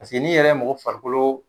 Paseke n'i yɛrɛ ye mɔgɔ farikolo